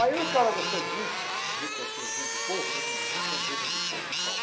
Aí o cara gostou de mim, viu que eu tinha jeito de povo, né? Como dizem, você tem jeito de povo.